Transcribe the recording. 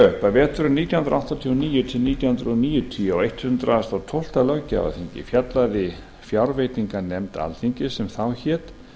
að veturinn nítján hundruð áttatíu og níu til nítján hundruð níutíu á hundrað og tólfta löggjafarþingi fjallaði fjárveitinganefnd alþingis sem þá hét